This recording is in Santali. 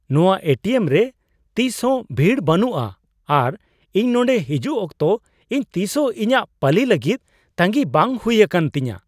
ᱱᱚᱣᱟ ᱮ ᱴᱤ ᱮᱢ ᱨᱮ ᱛᱤᱥ ᱦᱚᱸ ᱵᱷᱤᱲ ᱵᱟᱹᱱᱩᱜᱼᱟ ᱟᱨ ᱤᱧ ᱱᱚᱸᱰᱮ ᱦᱤᱡᱩᱜ ᱚᱠᱛᱚ ᱤᱧ ᱛᱤᱥ ᱦᱚᱸ ᱤᱧᱟᱜ ᱯᱟᱞᱤ ᱞᱟᱹᱜᱤᱫ ᱛᱟᱹᱜᱤᱭ ᱵᱟᱝ ᱦᱩᱭ ᱟᱠᱟᱱ ᱛᱤᱧᱟ ᱾